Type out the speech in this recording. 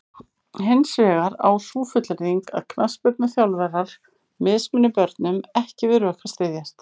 Hins vegar á sú fullyrðing að knattspyrnuþjálfarar mismuni börnum ekki við rök að styðjast.